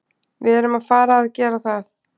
Við erum að fara að gera það.